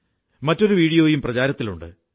മറ്റൊരു വീഡിയോയും പ്രചാരത്തിലുണ്ട്